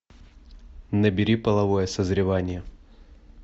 набери половое созревание